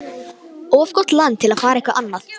Of gott land til að fara eitthvað annað.